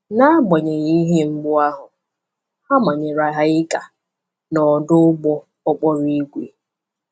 N’agbanyeghị ihe mgbu ahụ, a manyere ha ịga n’ọdụ ụgbọ okporo ígwè.